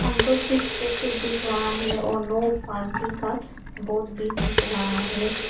Uncle chips packet दिख रहा है और नो पार्किंग का बोर्ड भी दिख रहा है।